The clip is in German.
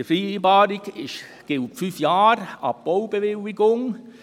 Die Vereinbarung gilt für fünf Jahre ab Baubewilligung.